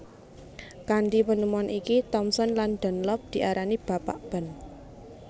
Kanthi penemuan iki Thomson lan Dunlop diarani Bapak Ban